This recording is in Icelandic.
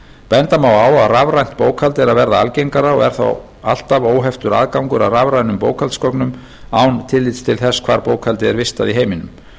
benda má á að rafrænt fært bókhald er að verða algengara og er þá alltaf óheftur aðgangur að rafrænum bókhaldsgögnum án tillits til hvar bókhald er vistað í heiminum